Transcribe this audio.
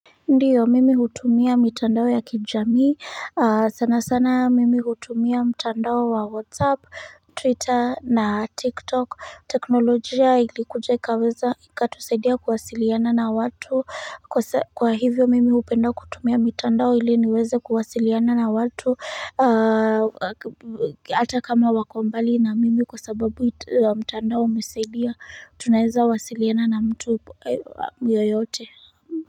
Ndiyo mimi hutumia mitandao ya kijamii, sana sana mimi hutumia mtandao wa whatsapp, twitter na tiktok. Teknolojia ilikuja ikatusaidia kuwasiliana na watu kwa hivyo mimi hupenda kutumia mitandao hili niweze kuwasiliana na watu Ata kama wako mbali na mimi kwa sababu mtandao umesaidia, tunaeza wasiliana na mtu yoyote.